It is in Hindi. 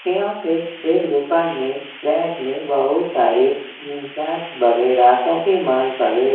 यहाँ पे एक दुकान में रैक में बहुत सारे वगैरह काफी मान बना--